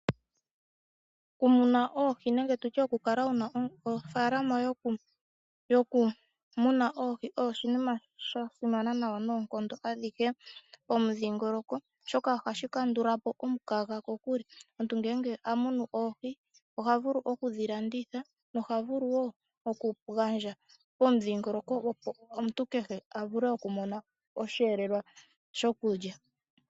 Okumuna oohi nenge tu tye okukala wu na ofaalama yokumuna oohi osho oshinima sha simana nawa noonkondo adhihe pomudhingoloko, oshoka ohashi kandula po omukaga kokule. Omuntu ngele a munu oohi oha vulu oku dhi landitha noha vulu wo okugandja pomudhingoloko, opo omuntu kehe a vule okumona osheelelwa shokulya.